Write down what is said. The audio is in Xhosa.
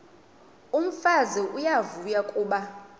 umfazi uyavuya kuba